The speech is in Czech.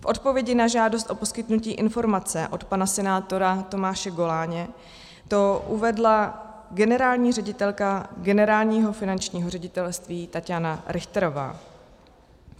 V odpovědi na žádost o poskytnutí informace od pana senátora Tomáše Goláně to uvedla generální ředitelka Generálního finančního ředitelství Tatjana Richterová.